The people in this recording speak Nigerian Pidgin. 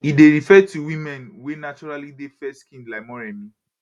e dey refer to women wey naturally dey fairskinned like moremi